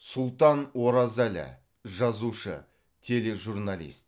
сұлтан оразәлі жазушы тележурналист